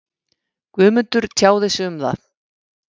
Guðmundur tjáði sig um það.